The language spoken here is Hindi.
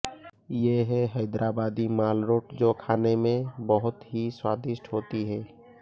ये है हैदराबादी मालरोट जो खाने मे बहुत ही स्वादिष्ट होती है